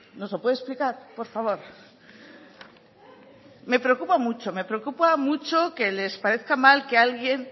nos lo puede explicar por favor me preocupa mucho que les parezca mal que alguien